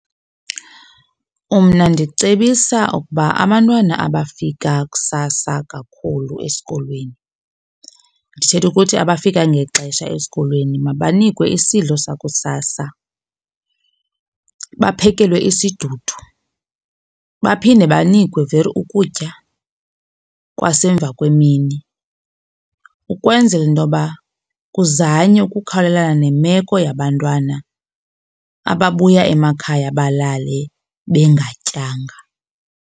Mna ndicebisa ukuba abantwana abafika kusasa kakhulu esikolweni ndithetha ukuthi abafika ngexesha esikolweni mabanikwe isidlo sakusasa baphekelwa isidudu. Baphinde banikwe weer ukutya kwasemva kwemini ukwenzela into yoba kuzanywe ukukhawulelana nemeko yabantwana ababuya emakhaya balale bengatyanga.